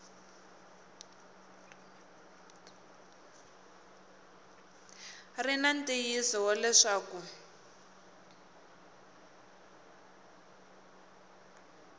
ri na ntiyiso wa leswaku